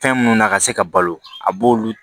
Fɛn minnu na ka se ka balo a b'olu